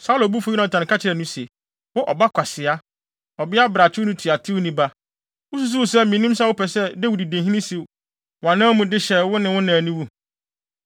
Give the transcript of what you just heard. Saulo bo fuw Yonatan, ka kyerɛɛ no se, “Wo ɔba kwasea, ɔbea brakyewni tuatewni ba! Wususuw sɛ minnim sɛ wopɛ sɛ Dawid di hene si wo anan mu de hyɛ wo ne wo na aniwu?